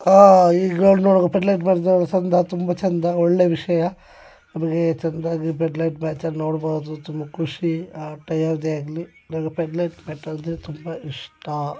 ಆಹ್ಹ್ ಪೇಡ್ಲೈಟ್ ಮ್ಯಾಚ್ ಚಂದ ತುಂಬಾ ಚಂದ ಒಳ್ಳೆ ವಿಷಯ. ಅದನೆ ಚಂದಾಗಿ ಬೇಡಿಲೈಟ್ ಮ್ಯಾಚ್ ಅನ್ನ ನೋಡಬಹುದು ತುಂಬಾ ಖುಷಿ ಆಟ ಯಾರದೇ ಆಗ್ಲಿ ನಂಗೆ ಪೇಡ್ಡ್ಬಾರ್ ಮ್ಯಾಚ್ ಅಂದ್ರೆ ತುಂಬಾ ಇಷ್ಟಾ.